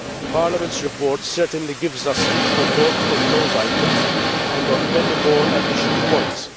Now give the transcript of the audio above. Parliament's report certainly gives us food for thought on those items and on many more additional points.